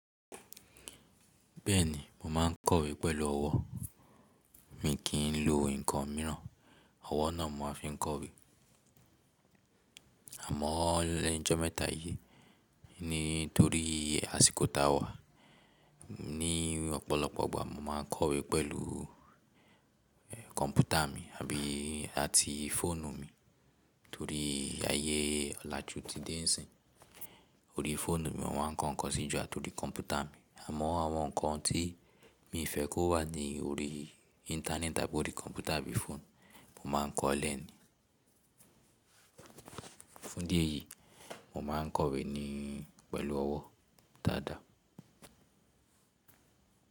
Bẹ́ẹ̀ni, mo má ń kọ̀wé pẹ̀lú ọwọ́. Mi kì í ń lo nǹkan mìíràn, ọwọ́ náà mo máa ń fi kọ̀wé. Àmọ́ lẹ́nu ìjọ́ mẹ́ta yìí, nítorí àsìkò ta wà, ní ọ̀pọ̀lọpọ̀ ọgbà mo máa ń kọ̀wé pẹ̀lú kọ̀m̀pútà mi àbí àti fóònù mi. Torí ayé ọ̀làjú ti dé n sín, orí fóònù mi mo máa ń kọ nǹkan sí i jù àti orí kọ̀m̀pútà mi. Àmọ́ àwọn nǹkan tí mi fẹ́ kó wà ní orí íńtánẹ́ẹ̀tì tàbí orí kọ̀m̀pútà àbí fóònù, mo máa ń kọ̀ ọ́ lẹ́ni. Fún díẹ̀ yìí, mo máa ń kọ̀wé ni pẹ̀lú ọwọ́ dáadáa.